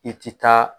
I ti taa